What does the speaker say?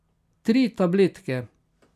Tri tabletke.